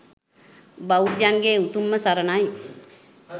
බෞද්ධයන්ගේ උතුම්ම සරණයි.